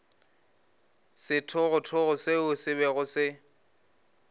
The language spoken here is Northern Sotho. sethogothogo seo se bego se